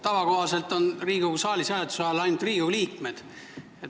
Tavakohaselt on Riigikogu saalis hääletuse ajal ainult Riigikogu liikmed.